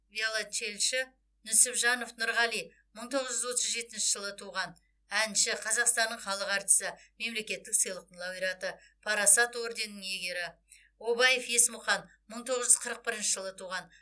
виоленчельші нүсіпжанов нұрғали мың тоғыз жүз отыз жетінші жылы туған әнші қазақстанның халық әртісі мемлекеттік сыйлықтың лауреаты парасат орденінің иегері обаев есмұқан мың тоғыз жүз қырық бірінші жылы туған